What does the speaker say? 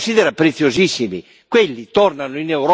L'Isis li considera preziosissimi